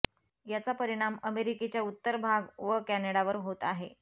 याचा परिणाम अमेरिकेच्या उत्तर भाग व कॅनडावर होत आहे